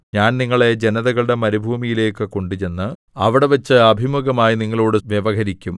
ഞാൻ നിങ്ങളെ ജനതകളുടെ മരുഭൂമിയിലേക്ക് കൊണ്ടുചെന്ന് അവിടെവച്ച് അഭിമുഖമായി നിങ്ങളോടു വ്യവഹരിക്കും